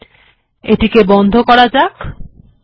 এবার এটিকে বন্ধ করা যাক